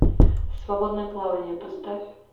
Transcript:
свободное плавание поставь